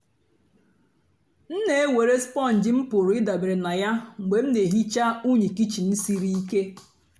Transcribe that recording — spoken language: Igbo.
m na-èwerè spọ́ǹjì m pụ́rụ́ ị̀dabèrè na ya mgbe m na-èhìcha unyị́ kịchìn sìrí ìké.